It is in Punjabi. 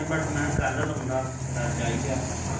but ਮੈਂ ਕਿਹਾ ਕੱਲ ਲਾਉਂਦਾ ਤੇਰਾ ਅੱਜ ਆ ਗਿਆ